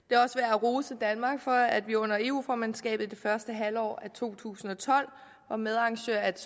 at rose danmark for at vi under eu formandskabet det første halvår af to tusind og tolv var medarrangør af et